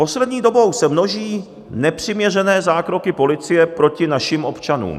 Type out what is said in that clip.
Poslední dobou se množí nepřiměřené zákroky policie proti našim občanům.